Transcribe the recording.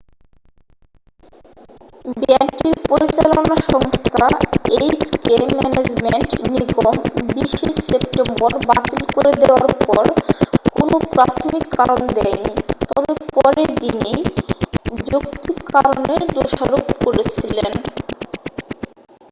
ব্যান্ডটির পরিচালনা সংস্থা HK management নিগম 20'ই সেপ্টেম্বর বাতিল করে দেওয়ার পর কোনও প্রাথমিক কারণ দেয়নি তবে পরের দিনেই যৌক্তিক কারণের দোষারপ করেছিলেন।